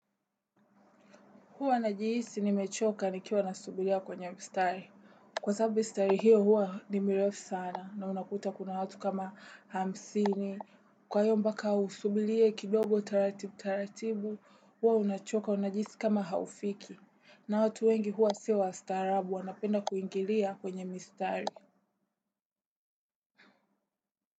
Huwa najihisi nimechoka nikiwa nasubiria kwenye mstari. Kwasababu mistari hiyo huwa ni mirefu sana na unakuta kuna watu kama, hamsini. Kwahiyo mpaka usubirie kidogo taratibu taratibu, huwa unachoka unajihisi kama haufiki. Na watu wengi huwa sio wastaarabu, wanapenda kuingilia kwenye mistari.